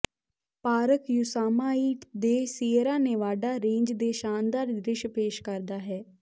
park Yosemite ਦੇ Sierra Nevada range ਦੇ ਸ਼ਾਨਦਾਰ ਦ੍ਰਿਸ਼ ਪੇਸ਼ ਕਰਦਾ ਹੈ